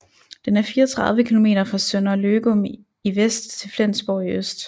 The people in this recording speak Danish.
Den er 34 km fra Sønder Løgum i vest til Flensborg i øst